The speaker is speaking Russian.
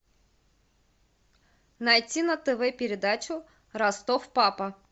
найти на тв передачу ростов папа